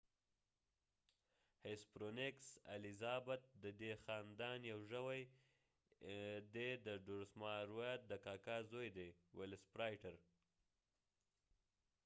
هیسپرونیکس hesperonychus elizabethae الیزابت ددې خاندان یو ژوي دي ډروماسوراید dromaeosauridaeد ولسپرایټر velociraptor د کاکا زوي دي